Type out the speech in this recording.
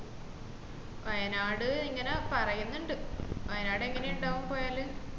വയനാട്‌ ഇങ്ങനെ പറയുന്നുണ്ട് വയനാട് ഏങ്ങനെ ഉണ്ടാവും പോയാല്